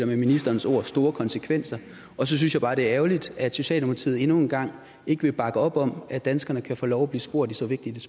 ministerens ord store konsekvenser og så synes jeg bare det er ærgerligt at socialdemokratiet endnu en gang ikke vil bakke op om at danskerne kan få lov at blive spurgt i så vigtigt